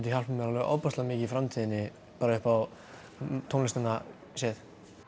hjálpað mér alveg ofboðslega mikið í framtíðinni bara upp á tónlistina séð